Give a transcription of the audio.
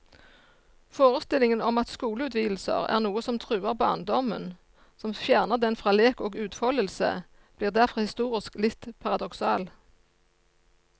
Forestillingen om at skoleutvidelser er noe som truer barndommen, som fjerner den fra lek og utfoldelse, blir derfor historisk litt paradoksal.